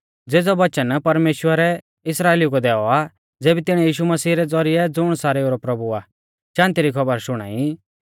ज़ेज़ौ वचन परमेश्‍वरै इस्राइलिऊ कै दैऔ आ ज़ेबी तिणीऐ यीशु मसीह रै ज़ौरिऐ ज़ुण सारेऊ रौ प्रभु आ शान्ति री खौबर शुणाई